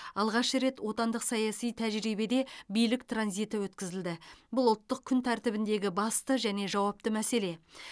алғаш рет отандық саяси тәжірибеде билік транзиті өткізілді бұл ұлттық күн тәртібіндегі басты және жауапты мәселе